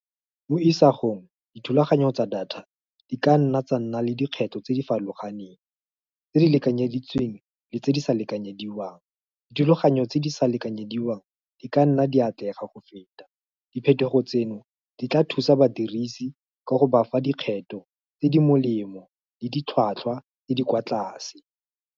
Mo isagong dithulaganyo tsa data di ka nna tsa nna le dikgetho tse di farologaneng. Tse di lekanyeditsweng le tse di sa lekanyediwang, dithulaganyo tse di sa lekanyediwang di ka nna di atlega go feta. Diphetogo tseno di tla thusa badirisi ka go bafa dikgetho tse di molemo le ditlhwatlhwa tse di kwa tlase.